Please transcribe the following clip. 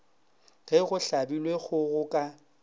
ge go hlabilwe kgogo ka